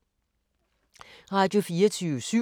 Radio24syv